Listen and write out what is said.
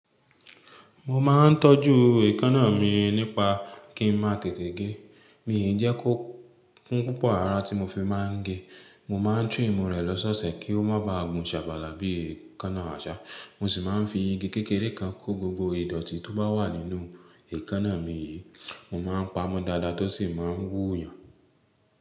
Mo ma ńtọ́jú èékánnà mi nípa kí n máa tètè gé. Mi ò jẹ́ kó kún púpọ̀ ara tí mo fi máa ń gé. Mo máa ń trìmù rẹ̀ lọ́ṣọ̀ọ̀ṣẹ̀ kí ó má baà gun ṣàbàlà bí èékánnà àṣá. Mo sì máa ń fi igi kékeré kan kó gbogbo ìdọ̀tí tó bá wà nínú èékánnà mi yìí. Mo máa ń pamọ́ dáadáa tó sì máa ń wú yàn.